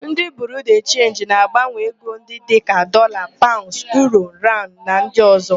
Ndị Biriu de Chenji na-agbanwe ego ndị dịka: Dọlaa, Paụnds, Uuro, Rand na ndị ọ̀zọ́.